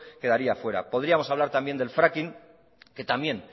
quedaría fuera podríamos hablar también del fracking que también